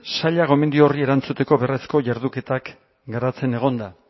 saila gomendio horri erantzuteko beharrezko jarduketak garatzen egon da